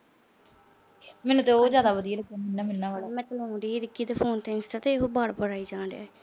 ਮੈਨੂੰ ਤਾਂ ਉਹ ਜਿਆਦਾ ਵਧੀਆ ਲੱਗਦਾ। phone ਤੇ ਰਿੱਕੀ ਦੇ phone ਤੇ ਉਹ ਵਾਰ-ਵਾਰ ਆਈ ਜਾ ਰਿਹਾ।